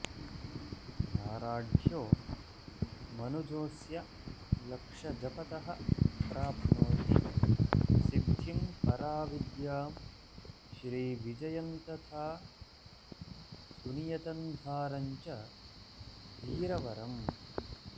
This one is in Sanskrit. दाराढ्यो मनुजोस्य लक्षजपतः प्राप्नोति सिद्धिम्पराविद्यां श्रीविजयन्तथा सुनियतन्धारञ्च वीरवरम्